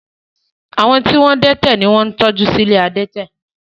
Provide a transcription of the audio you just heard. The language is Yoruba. Àwọn tí wọ́n dẹ́tẹ̀ ni wọ́n ń tọ́jú sí ilé adẹ́tẹ̀